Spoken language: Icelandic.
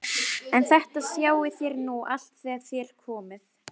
En þetta sjáið þér nú allt þegar þér komið.